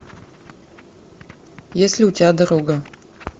есть ли у тебя дорога